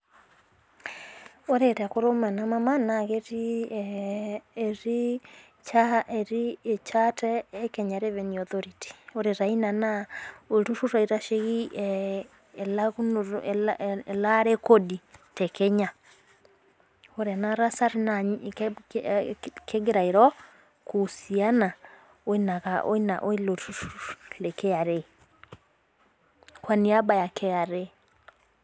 Ore tekurum ena mama naa ketii ee ,etii ichaate e Kenya revenue authority. ore taa Ina olturur oitasheki elaare ekodi te Kenya. ore ena tasat naa kegira airo kuusiana oilo turur le kra. Kwa niaba ya kra.